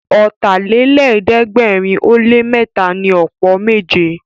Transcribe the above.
Ọ̀tàlélẹ̀ẹ́dẹ́gbẹ̀rin ó lé mẹ́ta ni ọ̀pọ̀ méje